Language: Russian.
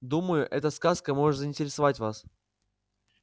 думаю эта сказка может заинтересовать вас